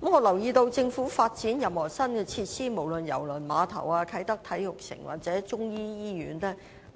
我留意到，政府發展任何新設施，無論是郵輪碼頭、啟德體育園或中醫醫院均